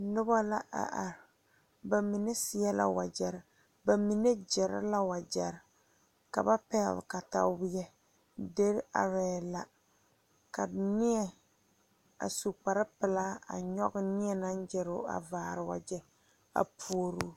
Noba a are bamine seɛ la wagyere bamine gere la wagyere ka ba pegle katawiɛ diire are la ka nie a su kpare pelaa a nyoŋ nie naŋ gere o a vaare wagye a pouri.